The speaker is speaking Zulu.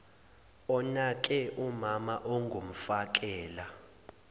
onake umama ongumfakela